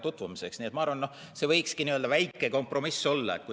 Nii et ma arvan, et see võikski väike kompromiss olla.